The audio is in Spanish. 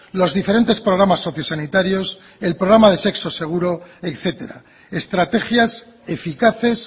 los diferentes programas socio sanitarios el programa de sexo seguro etcétera estrategias eficaces